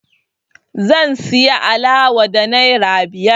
Zan siyo alawa da naira biyar